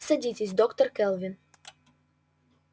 садитесь доктор кэлвин